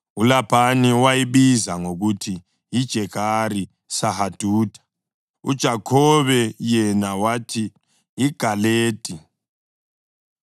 ULabhani wayibiza ngokuthi yiJegari Sahadutha, uJakhobe yena wathi yiGaledi.